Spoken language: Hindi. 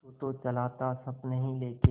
तू तो चला था सपने ही लेके